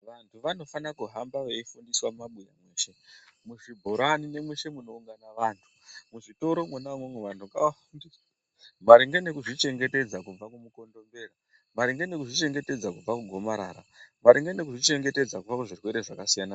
Vantu vanofana kuhamba vefundiswa mumabuya mweshe muzvibhorani mweshe unoungana vantu muzvitoro mwona umwomwo vantu ngavafundiswe maringe ngekuzvichengetedza kubva kumukondombera maringe ngekuzvichengetedza kubva kugomarara maringe nekuzvichengetesza kubva kuzvirwere zvakasiyana-siyana